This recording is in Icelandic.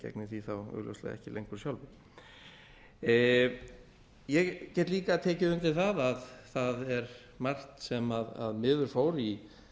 því þá augljóslega ekki lengur sjálfur ég get líka tekið undir að það er margt sem miður fór í